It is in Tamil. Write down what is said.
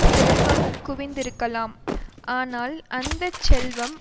செல்வம் குவிந்திருக்கலாம் ஆனால் அந்த செல்வம்